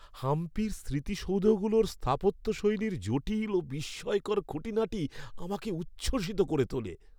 হাম্পির স্মৃতিসৌধগুলোর স্থাপত্যশৈলীর জটিল ও বিস্ময়কর খুঁটিনাটি আমাকে উচ্ছ্বসিত করে তোলে।